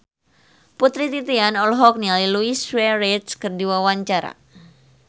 Putri Titian olohok ningali Luis Suarez keur diwawancara